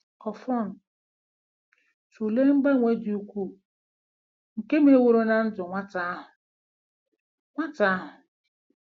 Ọfọn, tụlee mgbanwe dị ukwuu nke meworo ná ndụ nwata ahụ. nwata ahụ.